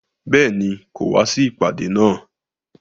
Béèni, kò wá sí ìpàdé náà